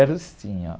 Quero sim, ó.